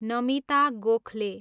Namita Gokhale